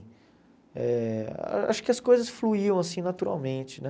Eh acho que as coisas fluíam assim naturalmente, né?